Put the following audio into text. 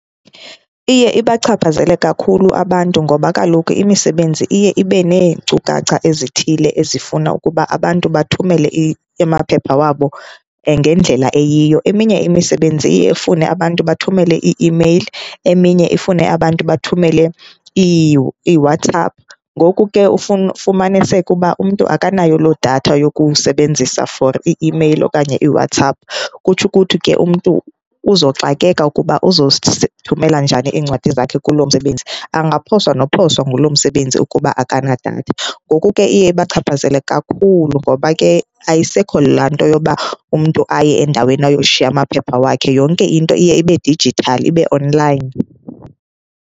Iye ibachaphazele kakhulu abantu ngoba kaloku imisebenzi iye ibe neenkcukacha ezithile ezifuna ukuba abantu bathumele amaphepha wabo ngendlela eyiyo. Eminye imisebenzi iye ifune abantu bathumele ii-imeyile, eminye ifune abantu bathumele iiWhatsApp. Ngoku ke ufumaniseke uba umntu akanayo loo datha yokusebenzisa for ii-imeyile okanye iWhatsapp. Kutsho ukuthi ke umntu uzoxakeka ukuba uzozithumela njani iincwadi zakhe kulo msebenzi, angaphoswa nophoswa ngulo msebenzi ukuba akanadatha. Ngoku ke iye ibachaphazele kakhulu ngoba ke ayisekho laa nto yoba umntu aye endaweni ayoshiya amaphepha wakhe. Yonke into iye ibe dijithali, ibe online.